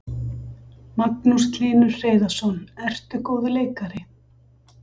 Magnús Hlynur Hreiðarsson: Ertu góður leikari?